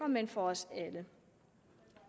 men for os alle